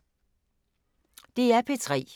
DR P3